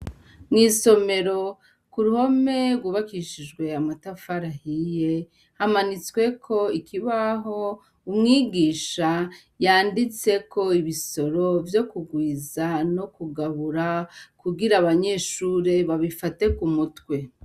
Mw'isomero ku ruhome rwubakishijwe amatafari ahiye hamanitsweko ikibaho umwigisha yanditseko ibisoro vyo kugwiza no kugabura kugira abanyeshure babifate ku mutwe.